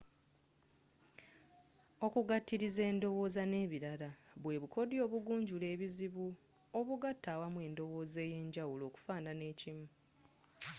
okugatiliza endowooza nebilala bwe bukodyo obugunjula ebizibu obugaata awamu endowooza eyenjawulo okufuuna ekimu